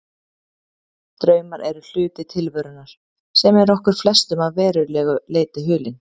Draumar eru hluti tilverunnar sem er okkur flestum að verulegu leyti hulinn.